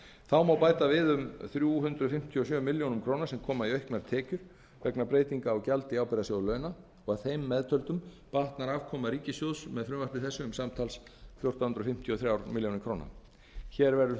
þá má bæta við um þrjú hundruð fimmtíu og sjö milljónum króna sem koma í auknar tekjur vegna breytinga á gjaldi í ábyrgðarsjóð launa og að þeim meðtöldum batnar afkoma ríkissjóðs um samtals fjórtán hundruð fimmtíu og þrjár milljónir króna hér